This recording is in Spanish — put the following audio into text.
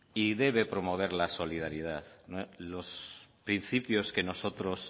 y debe promover la solidaridad son los principios